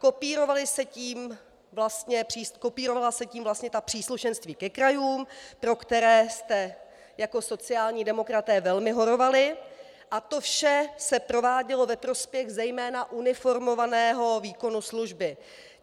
Kopírovala se tím vlastně ta příslušenství ke krajům, pro které jste jako sociální demokraté velmi horovali, a to vše se provádělo ve prospěch zejména uniformovaného výkonu služby.